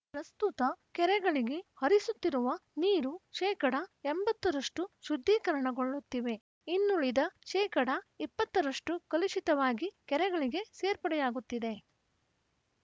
ಪ್ರಸ್ತುತ ಕೆರೆಗಳಿಗೆ ಹರಿಸುತ್ತಿರುವ ನೀರು ಶೇಕಡ ಎಂಬತ್ತರಷ್ಟು ಶುದ್ಧೀಕರಣಗೊಳ್ಳುತ್ತಿವೆ ಇನ್ನುಳಿದ ಶೇಕಡಾ ಇಪ್ಪತ್ತರಷ್ಟು ಕಲುಷಿತವಾಗಿ ಕೆರೆಗಳಿಗೆ ಸೇರ್ಪಡೆಯಾಗುತ್ತಿದೆ